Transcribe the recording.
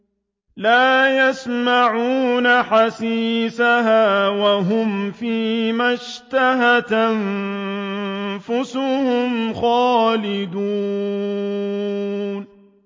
لَا يَسْمَعُونَ حَسِيسَهَا ۖ وَهُمْ فِي مَا اشْتَهَتْ أَنفُسُهُمْ خَالِدُونَ